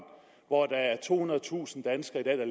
hvor der er tohundredetusind danskere